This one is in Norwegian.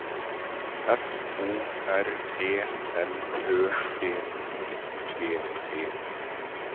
F O R E L Ø P I G E